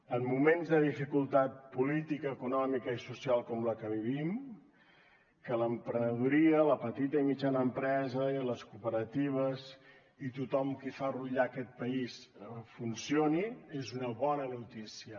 en moments de dificultat política econòmica i social com la que vivim que l’emprenedoria la petita i mitjana empresa i les cooperatives i tothom qui fa rutllar aquest país funcionin és una bona notícia